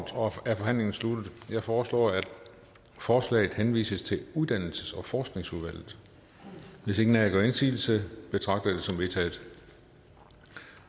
er forhandlingen sluttet jeg foreslår at forslaget henvises til uddannelses og forskningsudvalget hvis ingen af jer gør indsigelse betragter jeg det som vedtaget